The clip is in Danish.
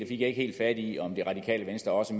ikke helt fat i om radikale venstre også